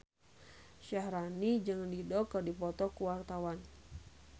Syaharani jeung Dido keur dipoto ku wartawan